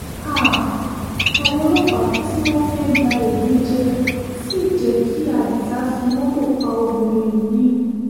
háà àwọn ọlọ́pàá tí wọ́n fẹ́ẹ́ gba ẹ̀gúnjẹ sí jẹ́ kí adisa fi mọ́tò pa obìnrin yìí